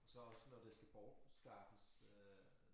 Så også når det skal bortskaffes øh